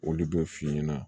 Olu b'o f'i ɲɛna